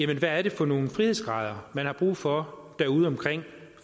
hvad er det for nogle frihedsgrader man har brug for derude